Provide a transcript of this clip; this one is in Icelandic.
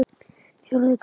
Fjórði kafli